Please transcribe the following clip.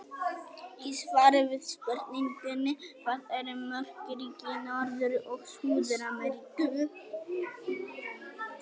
Í svari við spurningunni Hvað eru mörg ríki í Norður- og Suður-Ameríku?